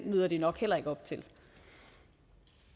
møder de nok heller ikke op til